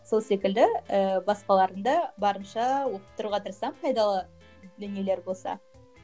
сол секілді ыыы басқаларын да барынша оқып тұруға тырысамын пайдалы дүниелері болса